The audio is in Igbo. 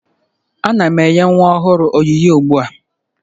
Ana m enye nwa ọhụrụ onyinye ugbu a